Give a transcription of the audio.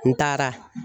N taara